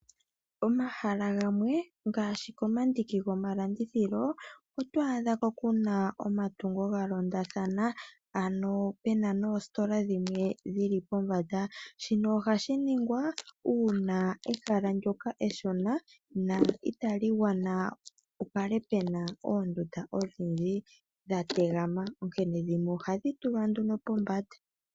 Pomahala gamwe ngaashi pomandiki gomalandithilo otwaadhapo omatungo galondathana ano pe na noositola dhimwe dhili popamba. Shino ohashi ningwa uuna ehala ndyoka eshona no itali gwana oondunda dhi kale dha tegama onkene ohadhi tulwa nduno pombanda.